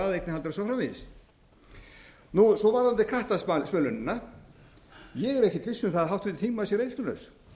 og svo framvegis svo varðandi kattasmölunina ég er ekkert viss um að háttvirtur þingmaður sé reynslulaus